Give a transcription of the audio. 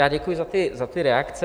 Já děkuji za ty reakce.